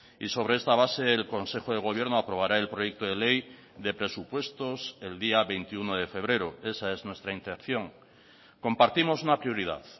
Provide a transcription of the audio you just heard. y sobre esta base el consejo de gobierno aprobará el proyecto de ley de presupuestos el día veintiuno de febrero esa es nuestra intención compartimos una prioridad